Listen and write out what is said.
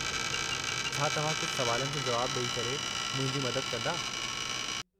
छा तव्हां कुझु सुवालनि जो जुवाब डे॒ई करे मुंहिंजी मदद कंदा ?